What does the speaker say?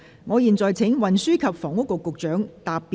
我現在請運輸及房屋局局長答辯。